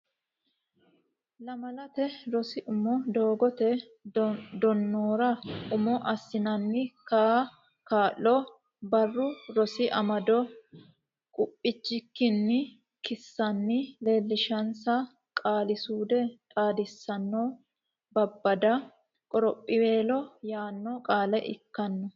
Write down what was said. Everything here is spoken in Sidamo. Lamalate Rosi Umo Doogote Danora Umo Assinanni Kaa lo Barru Rosi Amado qubbichikkinni kissanni leellishinsa Qaali suude Xaadisanna Babbada qorophiweelo yaanno qaale ikkanno.